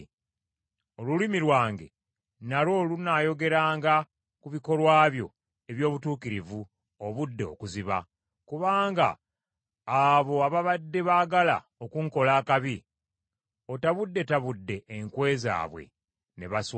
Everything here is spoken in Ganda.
Olulimi lwange nalwo lunaayogeranga ku bikolwa byo eby’obutuukirivu obudde okuziba, kubanga abo ababadde baagala okunkola akabi otabuddetabudde enkwe zaabwe ne baswazibwa.